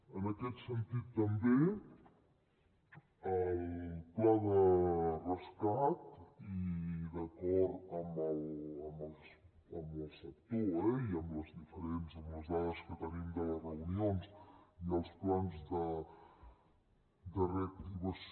en aquest sentit també el pla de rescat i d’acord amb el sector eh i amb les dades que tenim de les reunions i els plans de reactivació